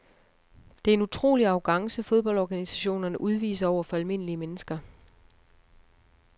Det er en utrolig arrogance fodboldorganisationerne udviser over for almindelige mennesker.